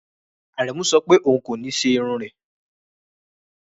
Aremus sọ pé òun kò ní ṣe irun rẹ̀